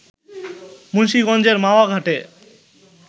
মুন্সীগঞ্জের মাওয়া ঘাটে